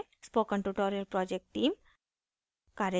spoken tutorial project team: